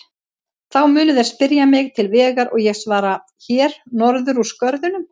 Þá munu þeir spyrja mig til vegar og ég svara: Hér norður úr skörðunum.